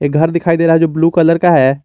घर दिखाई दे रहा जो ब्लू कलर का है।